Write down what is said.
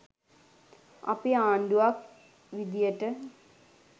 අපි ආණ්ඩුවක් විදියට